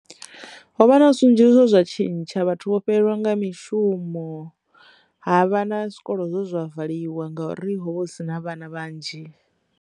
Ho vha na zwinzhi zwo zwa tshintsha vhathu vho fhelelwa nga mishumo ha vha na zwikolo zwa valiwa ngauri ho vha hu si na vhana vhanzhi.